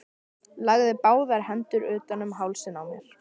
Lagði báðar hendur utan um hálsinn á mér.